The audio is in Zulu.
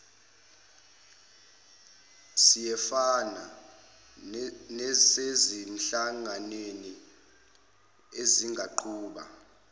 siyefana nasezinhlanganweni ezingaqhuba